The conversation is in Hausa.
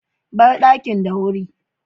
Bar dakin da wuri.